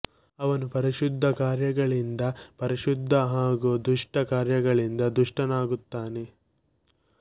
ಅವನು ಪರಿಶುದ್ಧ ಕಾರ್ಯಗಳಿಂದ ಪರಿಶುದ್ಧ ಹಾಗೂ ದುಷ್ಟ ಕಾರ್ಯಗಳಿಂದ ದುಷ್ಟನಾಗುತ್ತಾನೆ